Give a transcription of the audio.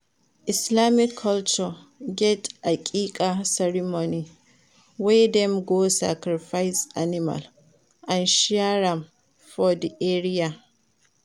Islamic culture get Aqiqah ceremony wey dem go sacrifice animal and share am for di area